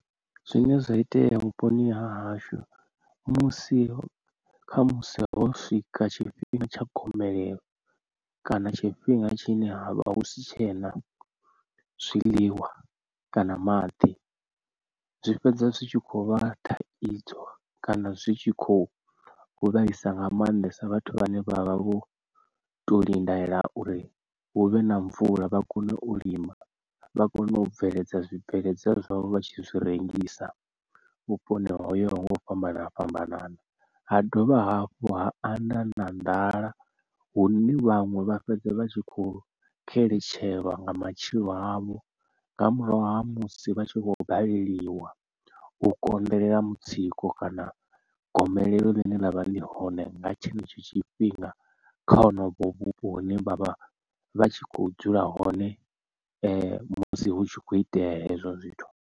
Zwine zwa itea vhuponi ha hashu musi kha musi ho swika tshifhinga tsha gomelelo kana tshifhinga tshine ha vha hu si tshena zwiḽiwa kana maḓi zwi fhedza zwi tshi khou vha thaidzo kana zwi tshi khou vhaisa nga mannḓesa vhathu vhane vha vha vho to lindela uri huvhe na mvula vha kone u lima. Vha kone u bveledza zwibveledzwa zwavho vha tshi zwi rengisa vhuponi ho yaho nga u fhambana fhambanana ha dovha hafhu ha anda na nḓala hune vhaṅwe vha fhedza vha tshi kho xeletshelwa nga matshilo avho nga murahu ha musi vha tshi khou baleliwa u konḓelela mutsiko kana gomelelo ḽine ḽa vha ḽi hone nga tshenetsho tshifhinga kha honovho vhupo hune vha vha vha tshi kho dzula hone musi hu tshi khou itea hezwo zwithu.